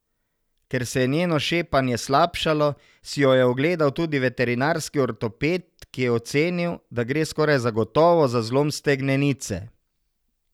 Ker se je njeno šepanje slabšalo, si jo je ogledal tudi veterinarski ortoped, ki je ocenil, da gre skoraj zagotovo za zlom stegnenice.